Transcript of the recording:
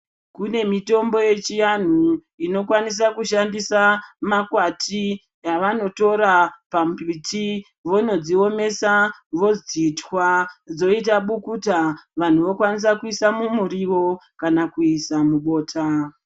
Kune mitombo yechiantu inokwanisa kushandisa makwati yavanotora pambiti vonodziomesa vodzitwa. Dzoita bukuta vantu vokwanisa kuisa mumurivo kana kuisa mubota.